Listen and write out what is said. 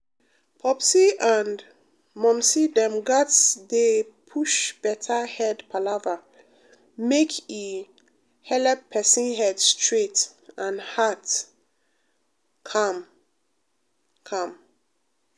popsi and um momsi dem gatz dey push better head palava make e um helep person head straight and heart calm. calm.